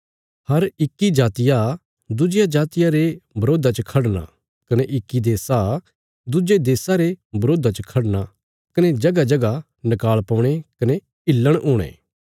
हर इक्की जातिया दुज्जिया जातिया रे बरोधा च खढ़ना कने इक्की देशा दुज्जे देशा रे बरोधा च खढ़ना कने जगहजगह नकाल़ पौणे कने हिल्लण हुणे